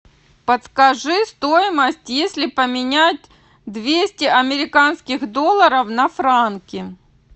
подскажи стоимость если поменять двести американских долларов на франки